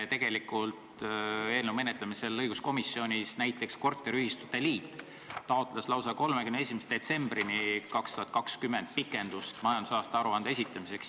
Tegelikult eelnõu menetlemisel õiguskomisjonis näiteks korteriühistute liit taotles pikendust majandusaasta aruande esitamiseks lausa 31. detsembrini 2020.